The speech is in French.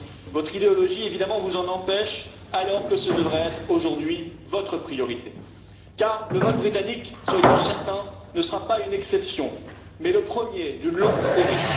Votre idéologie, évidemment, vous en empêche, alors que ce devrait être aujourd'hui votre priorité, car le vote britannique soyez en certains ne sera pas une exception, mais le premier d'une longue série.